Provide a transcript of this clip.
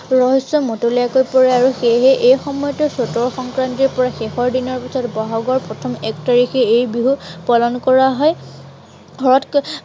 ৰহস্য়ত মতলীয়া হৈ পৰে আৰু সেয়েহে এই সময়টোত চতৰ সংক্ৰান্তিৰ পৰা শেষৰ দিনৰ বহাগৰ প্ৰথম এক তাৰিখে এই বিহু পালন কৰা হয়। ঘৰত